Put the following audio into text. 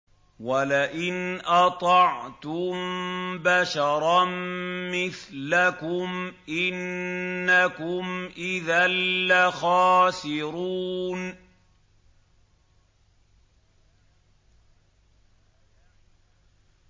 وَلَئِنْ أَطَعْتُم بَشَرًا مِّثْلَكُمْ إِنَّكُمْ إِذًا لَّخَاسِرُونَ